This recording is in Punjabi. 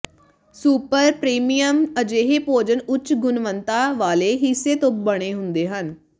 ਸੁਪਰ ਪ੍ਰੀਮੀਅਮ ਅਜਿਹੇ ਭੋਜਨ ਉੱਚ ਗੁਣਵੱਤਾ ਵਾਲੇ ਹਿੱਸੇ ਤੋਂ ਬਣੇ ਹੁੰਦੇ ਹਨ